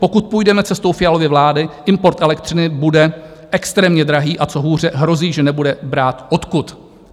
Pokud půjdeme cestou Fialovy vlády, import elektřiny bude extrémně drahý, a co hůře, hrozí, že nebude brát odkud.